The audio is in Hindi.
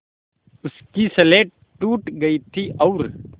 उसकी स्लेट टूट गई थी और